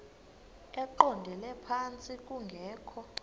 eqondele phantsi kungekho